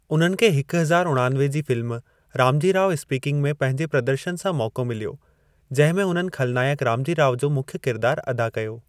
उन्हनि खे हिकु हज़ार उणानवे जी फिल्म रामजी राव स्पीकिंग में पंहिंजे प्रदर्शन सां मौक़ो मिल्यो, जंहिं में उन्हनि खलनाइकु रामजी राव जो मुख्य किरदार अदा कयो।